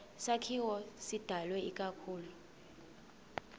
sakhiwo sidalwe ikakhulu